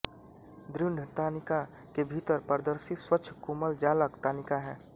दृढ़ तानिका के भीतर पारदर्शी स्वच्छ कोमल जालक तानिका है